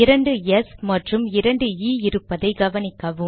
இரண்டு எஸ் மற்றும் இரண்டு இ இருப்பதை கவனிக்கவும்